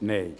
Nein